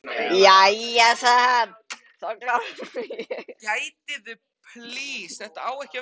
Jæja, sagði hann, þá klára ég það sjálfur.